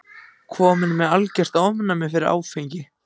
Kominn með algert ofnæmi fyrir áfengi.